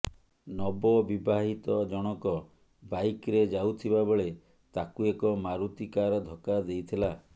ନବବିବାହିତ ଜଣକ ବାଇକ୍ରେ ଯାଉଥିବା ବେଳେ ତାଙ୍କୁ ଏକ ମାରୁତି କାର ଧକ୍କା ଦେଇଥିଲା